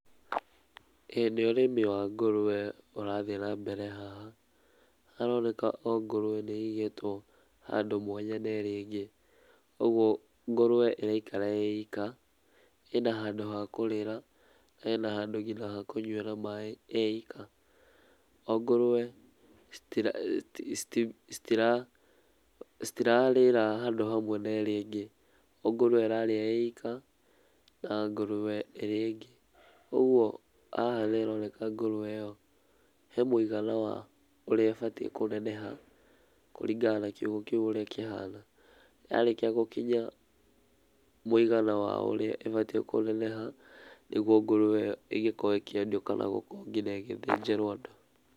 Ĩĩ nĩ ũrĩmi wa ngũrwe ũrathiĩ na mbere haha. Haroneka o ngũrwe nĩĩigĩtwo handũ mwanya na nerea ĩngĩ. ũgwo ngũrwe ĩraikara ĩika, ĩna handũ hakũrĩra, ĩna nginya handũ hakũnyuĩra maĩ ĩika. O ngũrwe citira citi citi citirarĩra handũ hamwe na ĩrĩa ĩngĩ. O ngorwe ĩrarĩa ĩika na ngũrwe ĩrĩa ĩingĩ. ũgwo haha nĩharoneka ngũrwe ĩo hemũigana wa ũrĩa ĩbatiĩ kũneneha kũringana na kiugũ ũrĩa kĩhana. Yarĩkia gũkinya mũigana wa ũrĩa ĩbatiĩ kũneneha, nĩguo ngũrwe ĩngĩkorwo ĩkĩendio kana gũkorwo ngunya ĩgĩthĩnjĩrwo andũ.